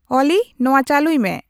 ᱚᱞᱤ ᱱᱚᱶᱟ ᱪᱟᱹᱞᱩᱭᱢᱮ